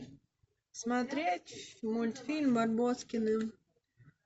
смотреть мультфильм барбоскины